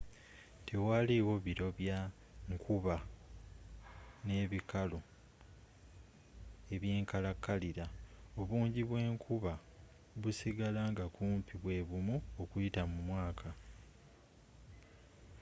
tewali wo biro bya nkuba” n'ebikalu” eby'enkalakalira: obungi bw'enkuba busigala nga kumpi bwebumu okuyita mu mwaka